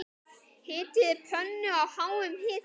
Hitið pönnu á háum hita.